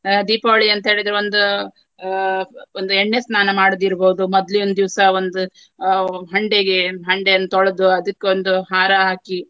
ಆ ದೀಪಾವಳಿ ಅಂತ ಹೇಳಿದ್ರೆ ಒಂದು ಆ ಒಂದು ಎಣ್ಣೆಸ್ನಾನ ಮಾಡುದಿರಬಹುದು. ಮೊದ್ಲಿನ್ ದಿವ್ಸ ಒಂದು ಆ ಹಂಡೆಗೆ ಹಂಡೆಯನ್ನು ತೊಳೆದು ಅದಕ್ಕೊಂದು ಹಾರ ಹಾಕಿ.